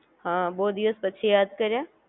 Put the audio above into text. હા બો દિવસ પછી યાદ કર્યા